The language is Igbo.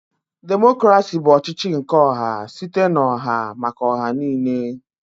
Democrasi bụ ọchịchị nke ọha site n'oha maka oha niine.